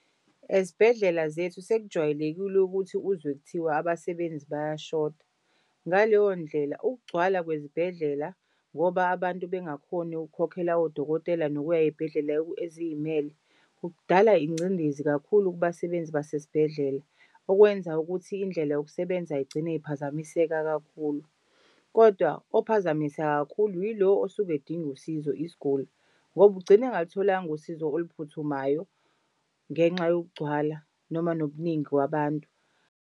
Ezibhedlela zethu sekujwayelekile ukuthi uzwe kuthiwa abasebenzi bayashoda. Ngaleyondlela ukugcwala kwezibhedlela ngoba abantu bengakhoni ukukhokhela odokotela nokuya ey'bhedlela eziy'mele kudala ingcindezi kakhulu kubasebenzi basesibhedlela, okwenza ukuthi indlela yokusebenza igcine iphazamiseka kakhulu. Kodwa ophazamiseka kakhulu yilo osuke edinga usizo isiguli ngoba ugcina engalutholanga usizo oluphuthumayo ngenxa yokugcwala noma nobuningi kwabantu.